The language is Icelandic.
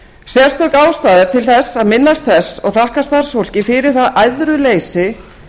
sérstök ástæða er til þess að minnast þess og þakka starfsfólki fyrir það æðruleysi